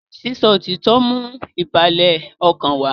sísọ òtítọ ń mú ìbàlẹ̀ ọkàn wá